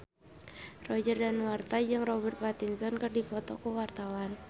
Roger Danuarta jeung Robert Pattinson keur dipoto ku wartawan